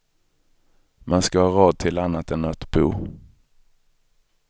Man ska ha råd till annat än att bo.